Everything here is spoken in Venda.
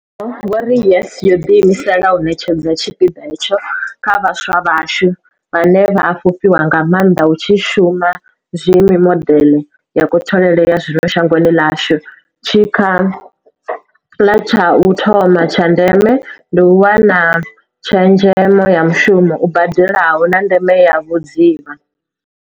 Vho ri YES yo ḓiimisela u ṋetshedza tshipiḓa hetsho kha vhaswa vhashu, vhane vha a fhufhiwa nga maanḓa hu tshi shumiswa mimodeḽe ya kutholele ya zwino shangoni ḽashu, tshikhala tsha u thoma tsha ndeme ndi u wana tshezhemo ya mushumo u badelaho, na ndeme ya vhudzivha.